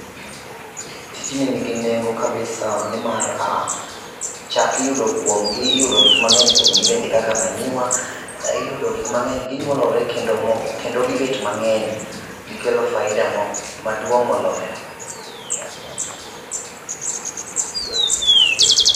Tijni nigi nengo kabisa nimar um chak iyudo kuom gi, iyudo gik mangeny kuom gi bende kaka manyiwa, iyudo gik mang'eny ginyuolore kendo kendo gibet mang'eny. Gikelo faida maduong' moloyo